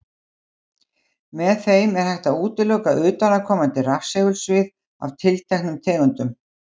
Með þeim er hægt að útiloka utanaðkomandi rafsegulsvið af tilteknum tegundum.